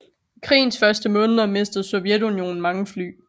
I krigens første måneder mistede Sovjetunionen mange fly